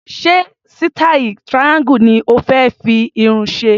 Ṣé sítáì triangle ni o fé fi irun ṣe?